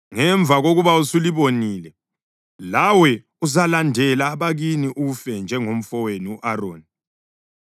Ngemva kokuba usulibonile, lawe uzalandela abakini, ufe njengomfowenu u-Aroni,